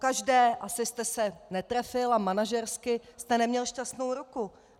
Pokaždé asi jste se netrefil a manažersky jste neměl šťastnou ruku.